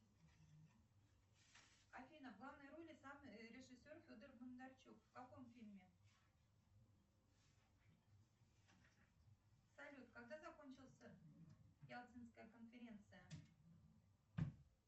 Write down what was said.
афина в главной роли сам режиссер федор бондарчук в каком фильме салют когда закончился ялтинская конференция